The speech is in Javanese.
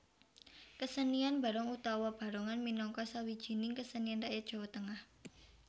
Kesenian Barong utawa Barongan minangka sawijining kesenian rakyat Jowo Tengah